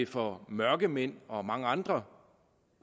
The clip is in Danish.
for mørkemænd og mange andre